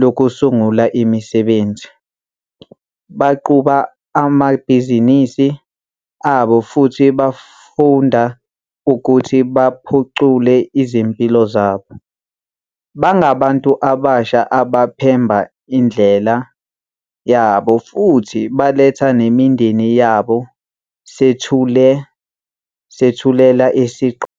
Lokusungula Imisebenzi, baqhuba amabhizinisi abo futhi bayafunda ukuthi baphucule izimpilo zabo. Bangabantu abasha abaphemba indlela yabo futhi baletha nemindeni yabo. Sethulela isigqoko.